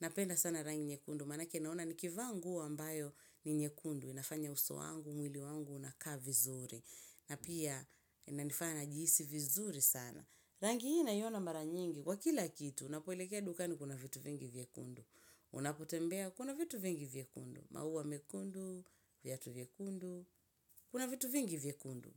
napenda sana rangi nyekundu manake naona nikivaa nguo ambayo ni nyekundu inafanya uso wangu, mwili wangu unakaa vizuri na pia inanifana najihisi vizuri sana. Rangi hii naiona mara nyingi, kwa kila kitu, unapoelekea dukani kuna vitu vingi vyekundu. Unapotembea, kuna vitu vingi vyekundu. Mauwa mekundu, vyatu vyekundu, kuna vitu vingi vyekundu.